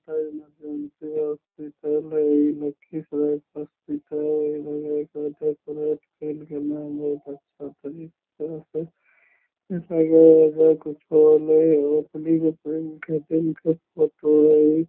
Hospital हेय इ लखीसराय के हॉस्पिटल इ लगे हेय कोई डेकोरेट केएल गैले हेय बहुत अच्छा तरीका से लगे हेय एजा कुछ होले हेय ओपनिंग उपनिंग के दिन के फोटो हेय इ।